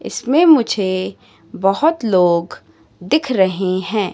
इसमें मुझे बोहोत लोग दिख रहें हैं।